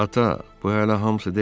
Ata, bu hələ hamısı deyil.